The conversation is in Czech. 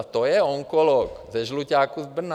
A to je onkolog ze Žluťáku z Brna.